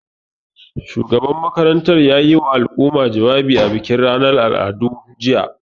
Shugaban makarantar ya yiwa al'umma jawabi a bikin ranar al'adu, jiya.